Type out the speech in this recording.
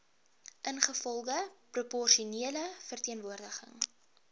ingevolge proporsionele verteenwoordiging